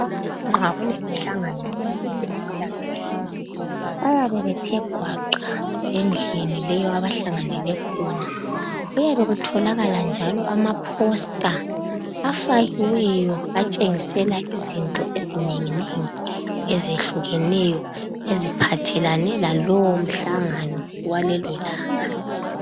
Nxa kulemihlangano yabezempilakahle bayabe bethe gwaqa endlini leyo abahlanganele khona kuyabe kutholakala njalo amaposter afakiweyo atshengisela izinto ezinenginengi ezehlukeneyo eziphathelane lalowo mhlangano walelolanga .